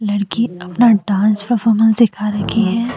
लड़की अपना dance performance दिखा रखी है।